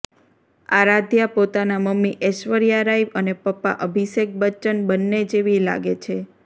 આરાધ્યા પોતાના મમ્મી ઐશ્વર્યા રાય અને પપ્પા અભિષેક બચ્ચન બંને જેવી લાગે છે